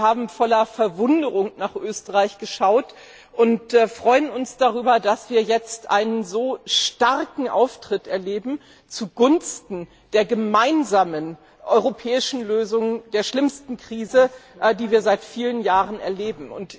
Wir haben voller Verwunderung nach Österreich geschaut und freuen uns darüber, dass wir jetzt einen so starken Auftritt erleben zugunsten der gemeinsamen europäischen Lösung der schlimmsten Krise, die wir seit vielen Jahren erleben.